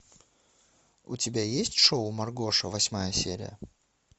у тебя есть шоу маргоша восьмая серия